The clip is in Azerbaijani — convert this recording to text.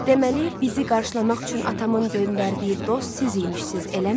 Deməli, bizi qarşılamaq üçün atamın göndərdiyi dost siz imişsiz, eləmi?